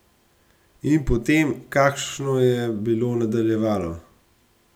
In potem, kakšno je bilo nadaljevalo.